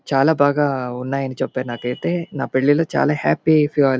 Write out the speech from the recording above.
చాలా బాగా ఉన్నాయని చెప్పరు నాకు అయితే. నా పెళ్లి లో చాలా హ్యాపీ --